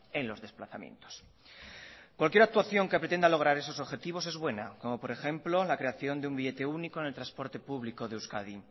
en los desplazamientos cualquier actuación que pretenda lograr esos objetivos es buena como por ejemplo la creación de un billete único en el transporte público de euskadi